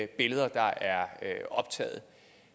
billeder der er taget